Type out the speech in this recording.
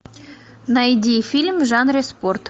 найди фильм в жанре спорт